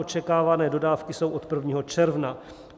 Očekávané dodávky jsou od 1. června.